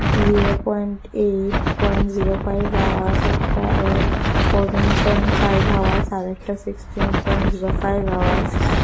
Zero point eight point zero five hours একটা eight fourteen point five hours আর একটা sixteen point zero five hours.